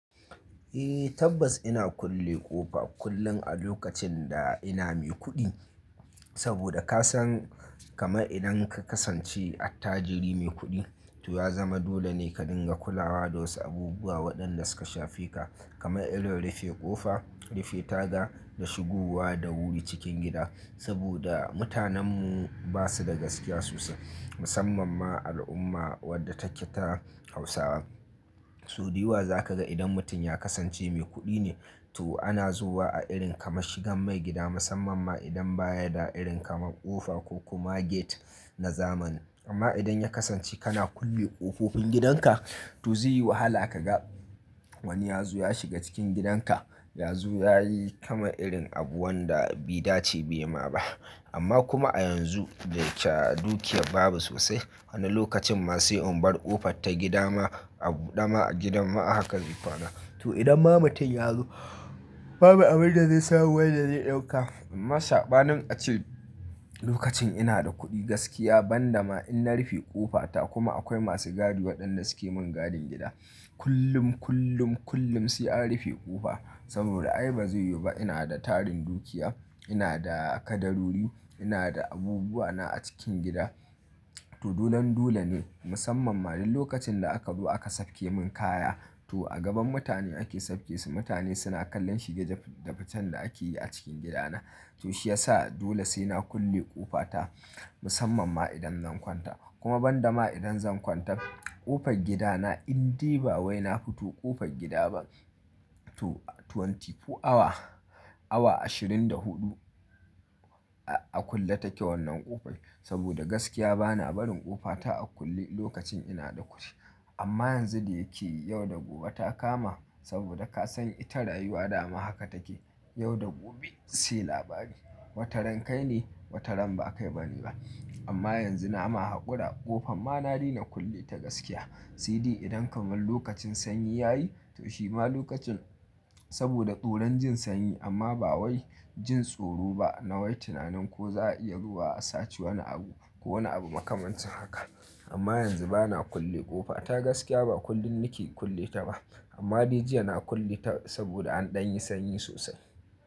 Eh tabbas ina kulle ƙofa kullum a lokacin da ina mai kuɗi. Saboda kasan kaman idan ka kasance attajiri mai kuɗi to ya zama dole ne ka dinga kulawa da wasu abubuwa waɗanda suka shafe ka. Kama irin rufe ƙofa, rufe taga da shigowa da wuri cikin gida. Saboda mutanenmu ba su da gaskiya sosai. Musamman ma al'umma wadda take ta Hausawa. So dayawa za ka ga idan mutum ya kasance mai kuɗi ne to ana zuwa a irin kama shigan maigida musamman ma idan baya da irin kamar ƙofa ko kuma gate na zamani. Amma idan ya kasance kana kulle ƙofofin gidanka to zai yi wahala ka ga wani ya zo ya shiga cikin gidanka. Ya zo yayi kaman irin abu wanda bai dace bai ma ba. Amma kuma a yanzu da ke dukiyar babu sosai. Wani lokacin ma sai in bar ƙofar ta gida ma a buɗe ma a gidan ma haka zai kwana. To idan ma mutum ya zo babu abun da zai samu wanda zai ɗauka. Amma sabanin a ce lokacin ina da kuɗi gaskiya ban dama in na rufe ƙofata kuma akwai masu gadi waɗanda suke mun gadin gida. Kullum, kullum, kullum sai an rufe ƙofa. Saboda ai bazai yiwu ba ina da tarin dukiya, ina da kadarori, ina da abubuwa na a cikin gida. To dolan dole ne musamman ma dan lokacin da aka zo aka sauke mun kaya to a gaban mutane ake saukesu. Mutane suna kallon shige da ficen da ake yi a cikin gidana. To shi yasa dole sai na kulle ƙofata musamman ma idan zan kwanta. Kuma ban dama idan zan kwanta ƙofar gidana in dai ba wai na fito ƙofar gida ba. To twenty four awa, awa ashirin da huɗu a kulle take wannan ƙofar. Saboda gaskiya bana barin ƙofata a bude lokacin ina da kuɗi. Amma yanzu da yake yau da gobe ta kama saboda kasan ita rayuwa dama haka take. Yau da gobe sai labari. Wataran kai ne, wataran ba kai bane ba. Amma yanzu na ma haƙura ƙofan ma na daina kulle ta gaskiya. Sai dai idan kamar lokacin sanyi ya yi to shi ma lokacin saboda tsoron jin sanyi amma ba wai jin tsoro ba na wai tunanin ko za a iya zuwa a sace wani abu ko wani abu makamancin haka. Amma yanzu bana kulle ƙofa ta gaskiya ba kullum nake kulle ta ba. Amma dai jiya na kulle ta saboda an ɗan yi sanyi sosai.